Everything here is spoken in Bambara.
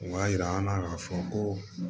O b'a yira an na k'a fɔ ko